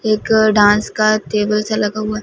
एक डांस का टेबल सा लगा हुआ--